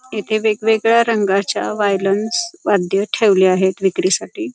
येथे वेगवेगळ्या रंगाच्या वायलन्स वाद्य ठेवले आहेत विक्रीसाठी.